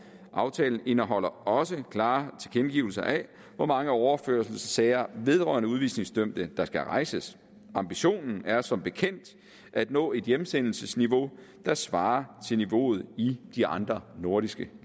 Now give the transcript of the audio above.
aftalen indeholder også klare tilkendegivelser af hvor mange overførselssager vedrørende udvisningsdømte der skal rejses ambitionen er som bekendt at nå et hjemsendelsesniveau der svarer til niveauet i de andre nordiske